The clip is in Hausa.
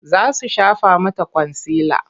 Za su shafa mata kwansila.